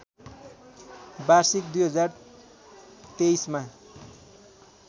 वार्षिक २०२३ मा